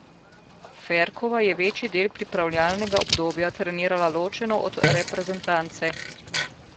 Ferkova je večji del pripravljalnega obdobja trenirala ločeno od reprezentance.